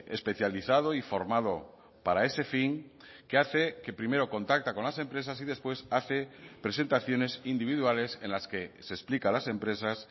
especializado y formado para ese fin que hace que primero contacta con las empresas y después hace presentaciones individuales en las que se explica a las empresas